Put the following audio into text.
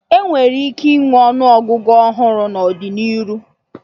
Enwere ike ịnwe ọnụ Ọgụgụ ọhụrụ n'ọdịnihu